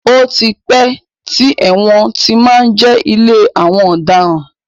Ó ti pẹ́ tí ẹ̀wọ̀n ti má ń jẹ́ ilé àwọn ọ̀daràn.